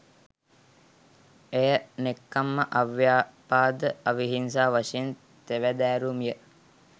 එය, නෙක්ඛම්ම, අව්‍යාපාද, අවිහිංසා වශයෙන් තෙවදෑරුම් ය.